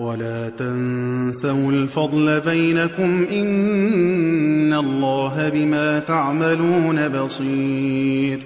وَلَا تَنسَوُا الْفَضْلَ بَيْنَكُمْ ۚ إِنَّ اللَّهَ بِمَا تَعْمَلُونَ بَصِيرٌ